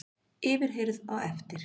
Yfirheyrð á eftir